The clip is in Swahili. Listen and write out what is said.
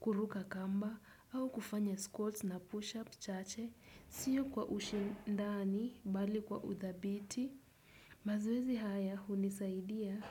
kuruka kamba, au kufanya squats na push-ups, chache, sio kwa ushindani, bali kwa uthabiti. Mazoezi haya, hunisaidia.